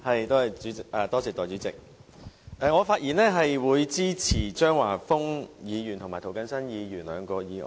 代理主席，我發言支持張華峰議員和涂謹申議員兩項議案。